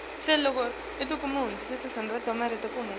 balo kuwo onkhe